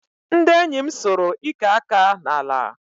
Ndị enyi m sụrụ ike aka n'ala